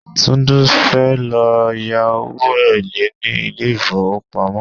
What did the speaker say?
Tunde fẹ́ lọ yá owó èlé ní ilé ìfowópamọ́.